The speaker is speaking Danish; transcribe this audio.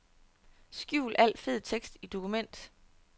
Skjul al fed tekst i dokument.